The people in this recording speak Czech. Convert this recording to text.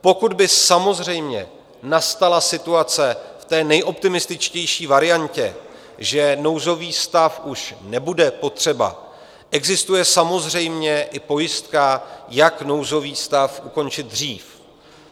Pokud by samozřejmě nastala situace v té nejoptimističtější variantě, že nouzový stav už nebude potřeba, existuje samozřejmě i pojistka, jak nouzový stav ukončit dřív.